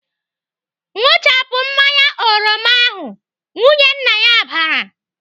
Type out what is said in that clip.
"Ṅụchapụ mmanya oroma ahụ!" Nwunye nna ya bara.